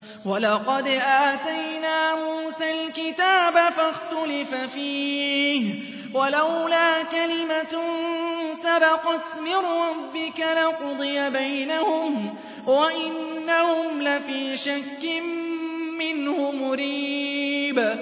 وَلَقَدْ آتَيْنَا مُوسَى الْكِتَابَ فَاخْتُلِفَ فِيهِ ۚ وَلَوْلَا كَلِمَةٌ سَبَقَتْ مِن رَّبِّكَ لَقُضِيَ بَيْنَهُمْ ۚ وَإِنَّهُمْ لَفِي شَكٍّ مِّنْهُ مُرِيبٍ